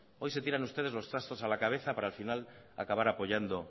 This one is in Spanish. hoy se tiran ustedes los trastos a la cabeza para al final acabar apoyando